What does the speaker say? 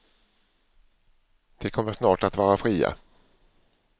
De kommer snart att vara fria.